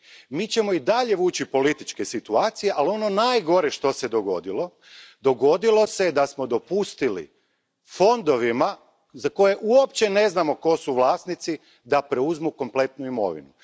Mi ćemo i dalje vući političke situacije, ali ono najgore što se dogodilo jest da smo dopustili fondovima za koje uopće ne znamo tko su vlasnici da preuzmu kompletnu imovinu.